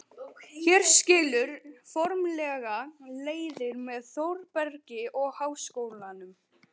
Hér skilur formlega leiðir með Þórbergi og Háskólanum.